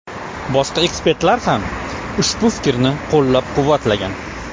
Boshqa ekspertlar ham ushbu fikrni qo‘llab-quvvatlagan.